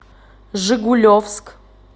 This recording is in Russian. жигулевск